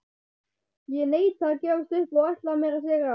Ég neita að gefast upp og ætla mér að sigra.